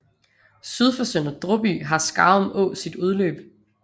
Syd for Sønder Dråby har Skarum Å sit udløb